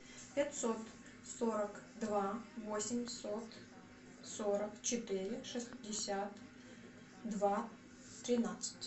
пятьсот сорок два восемьсот сорок четыре шестьдесят два тринадцать